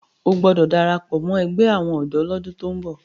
o gbódò darapọ mọ ègbé àwọn odò l'ọdun tó ń bó!